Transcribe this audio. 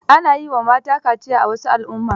Ana yi wa mata kaciya a wasu al'adun